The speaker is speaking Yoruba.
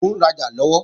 Mò ń rajà lọ́wọ́